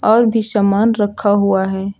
और भी सामान रखा हुआ है।